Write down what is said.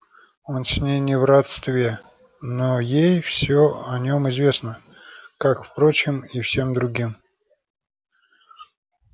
он с ней не в родстве но ей все о нём известно как впрочем и всем другим